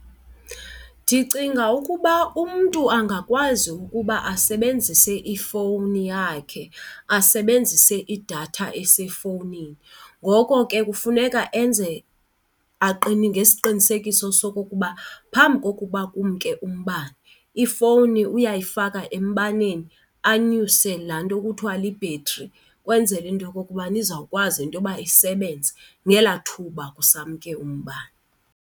Ndicinga ukuba umntu angakwazi ukuba asebenzise ifowuni yakhe asebenzise, idatha esefowunini. Ngoko ke kufuneka enze ngesiqinisekiso sokokuba phambi kokuba kumke umbane ifowuni uyayifaka embaneni anyuse laa nto kuthiwa libhetri ukwenzela into yokokuba izawukwazi into yoba isebenze ngelaa thuba kusamke umbane.